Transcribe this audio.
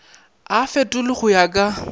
a fetolwe go ya ka